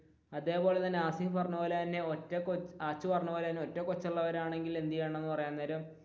അതേപോലെ തന്നെ ഹാസിഫ് പറഞ്ഞപോലെ തന്നെ ആച്ചു പറഞ്ഞപോലെ തന്നെ ഒറ്റകൊച്ചു ആണെങ്കിൽ എന്ത് ചെയ്യണമെന്ന് പറയാൻ നേരം,